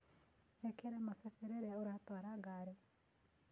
Ĩkĩra mũcĩbĩ rĩrĩa ũratwara ngarĩ.